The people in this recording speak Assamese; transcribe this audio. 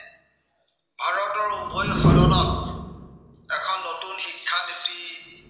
এখন নতুন শিক্ষানীতি